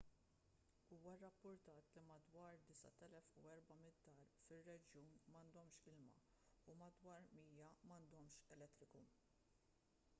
huwa rrappurtat li madwar 9400 dar fir-reġjun m'għandhomx ilma u madwar 100 m'għandhomx elettriku